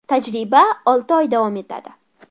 Tajriba olti oy davom etadi.